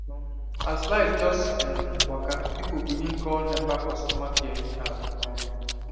um as light just um waka people begin call nepa customer care anyhow um